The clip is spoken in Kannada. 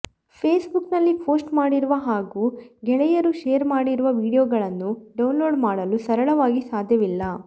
ಫೇಸ್ಬುಕ್ನಲ್ಲಿ ಪೋಸ್ಟ್ ಮಾಡಿರುವ ಹಾಗೂ ಗೆಳೆಯರು ಶೇರ್ ಮಾಡಿರುವ ವಿಡಿಯೋಗಳನ್ನು ಡೌನ್ಲೋಡ್ ಮಾಡಲು ಸರಳವಾಗಿ ಸಾಧ್ಯವಿಲ್ಲ